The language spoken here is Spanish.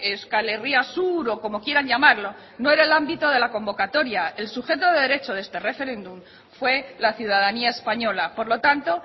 euskal herria sur o como quieran llamarlo no era el ámbito de la convocatoria el sujeto de derecho de este referéndum fue la ciudadanía española por lo tanto